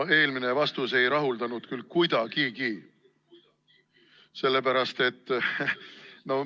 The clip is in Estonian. No eelmine vastus ei rahuldanud küll kuidagi.